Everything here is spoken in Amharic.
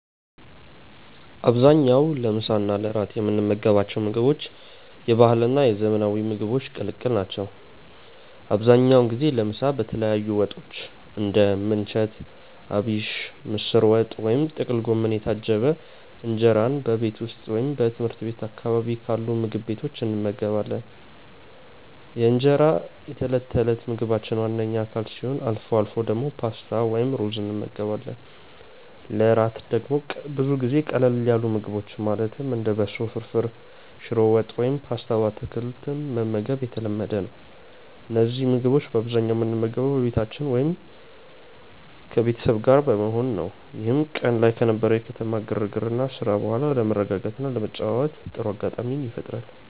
በአብዛኛው ለምሳ እና ለእራት የምንመገባቸው ምግቦች የባህልና የዘመናዊ ምግቦች ቅልቅል ናቸው። አብዛኛውን ጊዜ ለምሳ በተለያዩ ወጦች (እንደ ምንቸት አቢሽ፣ ምስር ወጥ ወይም ጥቅል ጎመን) የታጀበ እንጀራን በቤት ውስጥ ወይም ትምህርት ቤት አካባቢ ባሉ ምግብ ቤቶች እንመገባለን። እንጀራ የዕለት ተዕለት ምግባችን ዋነኛ አካል ሲሆን፣ አልፎ አልፎ ደግሞ ፓስታ ወይም ሩዝ እንመገባለን። ለእራት ደግሞ ብዙ ጊዜ ቀለል ያሉ ምግቦችን ማለትም እንደ በሶ ፍርፍር፣ ሽሮ ወጥ ወይም ፓስታ በአትክልት መመገብ የተለመደ ነው። እነዚህን ምግቦች በአብዛኛው የምንመገበው በቤታችን ውስጥ ከቤተሰብ ጋር በመሆን ነው፤ ይህም ቀን ላይ ከነበረው የከተማ ግርግርና ስራ በኋላ ለመረጋጋትና ለመጨዋወት ጥሩ አጋጣሚ ይፈጥራል።